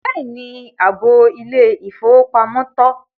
Bẹ́ẹ̀ni, áàbọ ilẹ̀-ifowópamọ̀ tọ.